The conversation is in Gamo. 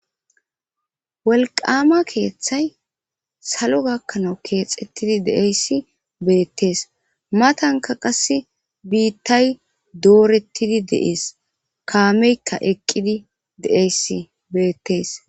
Wolqama keeththay salo gakkanawu keexettidi deeyssi beettees matanka qasse biittay doorettidi deees kaameykka eqqidi de'eyssi beettees.